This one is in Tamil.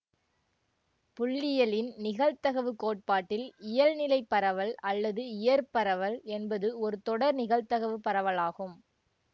புள்ளியியலின் நிகழ்தவுக் கோட்பாட்டில் இயல்நிலைப் பரவல் அல்லது இயற் பரவல் என்பது ஒரு தொடர் நிகழ்தகவுப் பரவலாகும்